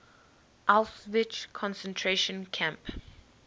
auschwitz concentration camp